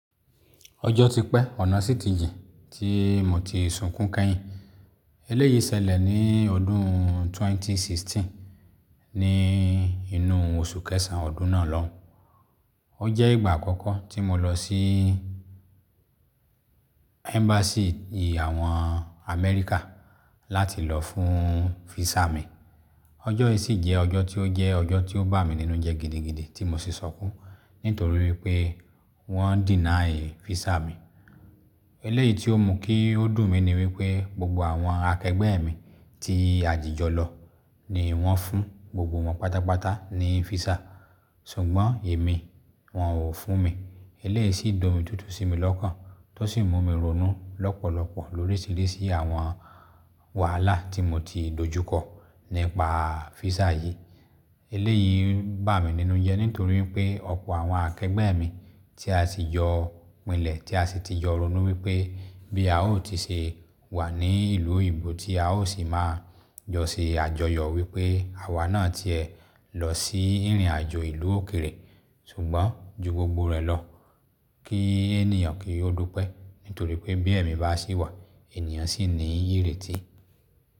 Ọjọ́ ti pẹ́, ọ̀nà sì ti jìn, tí mo ti sunkún kẹ́yìn. Eléyìí ṣẹlẹ̀ ní ọdún 2016, ní inú oṣù kẹsàn-án ọdún náà lọ́hùn-ún. Ó jẹ́ ìgbà àkọ́kọ́ tí mo lọ sí Embassy àwọn Amẹ́ríkà láti lọ fún visa mi. Ọjọ́ yìí sì jẹ́ ọjọ́ tí ó jẹ́ ọjọ́ tí ó bà mí nínú jẹ́ gidigidi tí mo sì sunkún, nítorí wípé wọ́n deny visa mi. Eléyìí tí ó mú kí ó dùn mí ni wípé gbogbo àwọn akẹgbẹ́ mi tí a jìjọ lọ ni wọ́n fún gbogbo wọn pátápátá ní visa. Ṣùgbọ́n èmi, wọ́n ò fún mi. Eléyìí sì domi tútù sí mi lọ́kàn, tó sì mú mi ronú lọ́pọ̀lọpọ̀ l'oríṣìíríṣìí àwọn wàhálà tí mo ti dojú kọ nípa visa yìí. Eléyìí bà mí nínú jẹ́ nítorí wípé ọ̀pọ̀ àwọn akẹgbẹ́ mi tí a ti jọ pínlẹ̀, tí a sì ti jọ ronú wípé bí a ó ti ṣe wà ní ìlú òyìnbó tí a ó sì máa jọ ṣe àjọyọ̀ wípé àwa náà ti ẹ̀ lọ sí ìrìnàjò ìlú òkèèrè. Ṣùgbọ́n ju gbogbo rẹ̀ lọ kí ènìyàn kí ó dúpẹ́ nítorí pé bí ẹ̀mi bá ṣì wà, ènìyàn ṣì ní ìrètí.